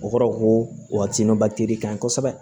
O kɔrɔ ko ka ɲi kosɛbɛ